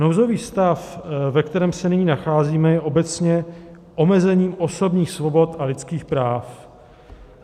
Nouzový stav, ve kterém se nyní nacházíme, je obecně omezení osobních svobod a lidských práv.